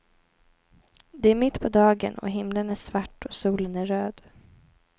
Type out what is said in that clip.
Det är mitt på dagen, och himlen är svart och solen är röd.